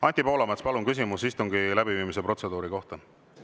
Anti Poolamets, palun küsimus istungi läbiviimise protseduuri kohta!